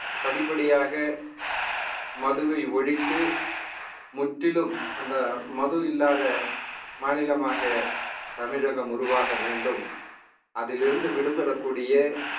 படிப்படியாக மதுவை ஒழித்து முற்றிலும் அந்த மது இல்லாத மாநிலமாக தமிழகம் உருவாக வேண்டும் அதிலிருந்து விடுபடக்கூடிய